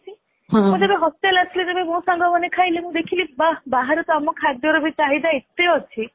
ମୁଁ ଯେବେ hostel ଆସିଲି ମୋ ସାଙ୍ଗ ମାନେ ଖାଇଲେ ମୁଁ ଦେଖିଲି ଵହ ବାହାରେ ତ ଆମ ଖାଦ୍ୟର ଚାହିଦା ଏତେ ଅଛି